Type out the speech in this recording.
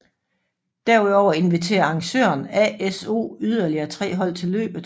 Derudover inviterer arrangøren ASO yderlige tre hold til løbet